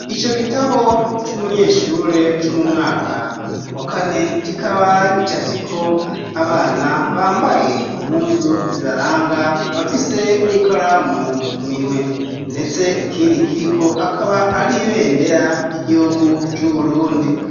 ico gitabo c'umunyeshure co mu mwaka wa kane kikaba gicafyeko abana bambaye impuzu zibaranga bafise n'ikaramu mu minwe ndetse ikindi kiriko akaba ari ibendera ry'igihugu c'Uburundi.